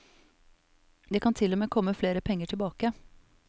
Det kan til og med komme flere penger tilbake det var.